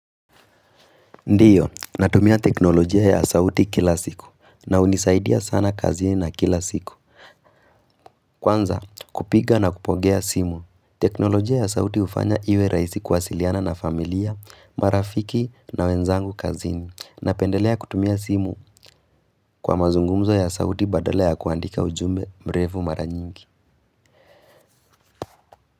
Ndiyo, natumia teknolojia ya sauti kila siku na hunisaidia sana kazini na kila siku. Kwanza, kupiga na kupokea simu. Teknolojia ya sauti hufanya iwe rahisi kuwasiliana na familia, marafiki na wenzangu kazini. Napendelea kutumia simu kwa mazungumzo ya sauti badala ya kuandika ujumbe mrefu maranyingi.